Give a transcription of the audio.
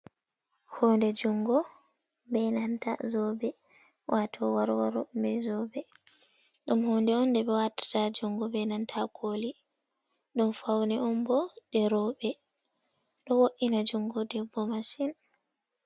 Hounde juongo be nanta zobe wato warwaro mai zobe, ɗum honde on de ɓe watata ha juongo be nanta ha koli, ɗum faune on bo ɗe rowbe, ɗo wo’ina juongo debbo masin.